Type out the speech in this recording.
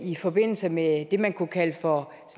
i forbindelse med det man kunne kalde for